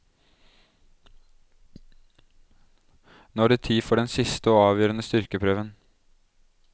Nå er det tid for den siste og avgjørende styrkeprøven.